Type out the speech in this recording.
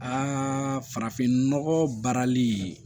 Aa farafinnɔgɔ baarali